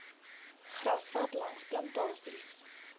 grasveld langs plantasies